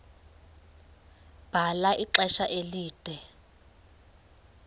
bahlala ixesha elide